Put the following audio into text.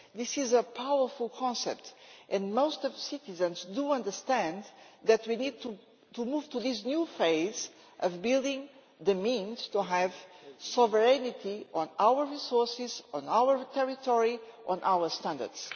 This is a powerful concept, and most citizens do understand that we need to move to this new phase of building the means to have sovereignty over our resources, our territory and our standards.